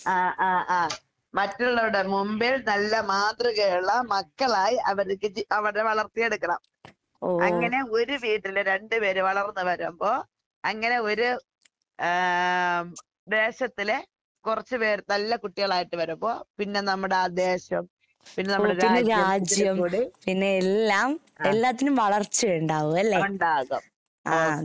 ആഹ് ആഹ് ആഹ്. മറ്റുള്ളവരുടെ മുമ്പിൽ നല്ല മാതൃകയൊള്ള മക്കളായി അവര്‍ക്ക് ജീവിക്ക അവരെ വളർത്തിയെടുക്കണം. അങ്ങനെ ഒരു വീട്ടില് രണ്ട് പേര് വളർന്ന് വരുമ്പോ അങ്ങനെ ഒര് ആഹ് ദേശത്തിലെ കൊറച്ച് പേര് നല്ല കുട്ടികളായിട്ട് വരുമ്പോ പിന്നെ നമ്മടെയാ ദേശം പിന്നെ നമ്മടെ രാജ്യം ആഹ് ഒണ്ടാകും ആഹ്.